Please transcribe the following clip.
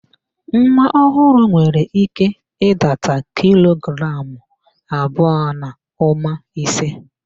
Nwa ọhụrụ nwere ike ịdata kilo gramụ abụọ na ụma ise